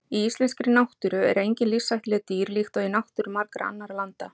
Í íslenskri náttúru eru engin lífshættuleg dýr líkt og í náttúru margra annarra landa.